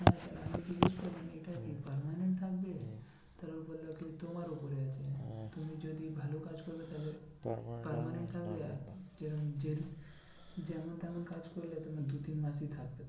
এটা কি permanent থাকবে? তারপর ও বললো কি তোমার উপরে আছে তুমি যদি ভালো কাজ করবে তাহলে যেমন তেমন কাজ করলে তোমার দু তিন মাসই থাকবে।